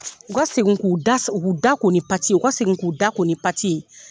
U ka segin k'u da k'u da ko ni pati ye u ka segin k'u da ko ni pati ye.